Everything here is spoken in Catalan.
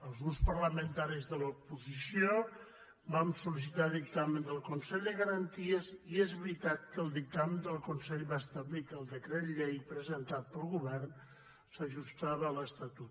els grups parlamentaris de l’oposició vam sol·licitar dictamen del consell de garanties i és veritat que el dictamen del consell va establir que el decret llei presentat pel govern s’ajustava a l’estatut